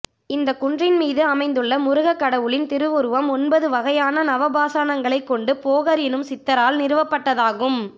இந்த குன்றின்மீது அமைந்துள்ள முருக கடவுளின் திரு உருவம் ஒன்பது வகையான நவபாஸாணங்களைக் கொண்டு போகர் எனும் சித்தரால் நிறுவப்பட்டதாகும்